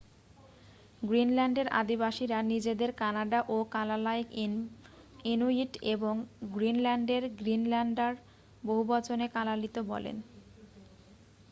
গ্রিনল্যান্ডের আদিবাসীরা নিজেদের কানাডা ও কালালাইক ইনুইট এবং গ্রিনল্যান্ডে গ্রিনল্যান্ডার বহুবচনে কালালিত বলেন।